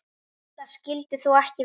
Það skyldi þó ekki vera.